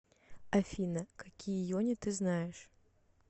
афина какие йони ты знаешь